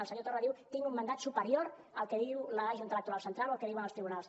el senyor torra diu tinc un mandat superior al que diu la junta electoral central o al que diuen els tribunals